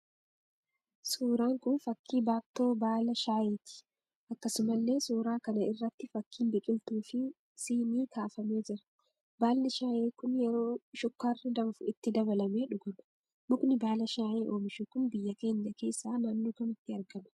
Suuraan kun fakkii baattoo baala shaayeeti. Akkasumallee suuraa kana irratti fakkiin biqiltuu fi sinii kaafamee jira. Baalli shaayee kun yeroo shukkaarri danfuu itti dabalamee dhuguma. Mukni baala shaayee oomishu kun biyya keenya keessaa naannoo kamitti argama?